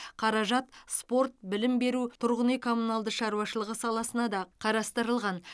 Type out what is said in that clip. қаражат спорт білім беру тұрғын үй коммуналды шаруашылығы саласына да қарастырылған